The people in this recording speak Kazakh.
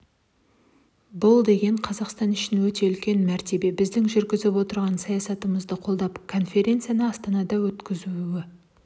бұл деген қазақстан үшін өте үлкен мәртебе біздің жүргізіп отырған саясатымызды қолдап конференцияны астанада өткізу